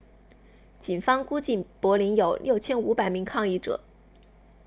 警方估计柏林有 6,500 名抗议者